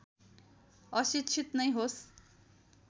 अशिक्षित नै होस्